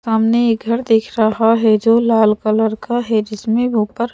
सामने एक घर दिख रहा है जो लाल कलर का है जिसमें ऊपर --